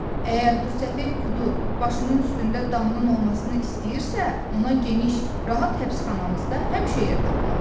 Əgər bu səfeh Kudu başının üstündə damnın olmasını istəyirsə, ona geniş, rahat həbsxanamızda həmişə yer tapılar.